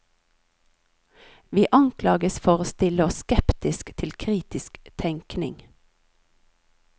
Vi anklages for å stille oss skeptisk til kritisk tenkning.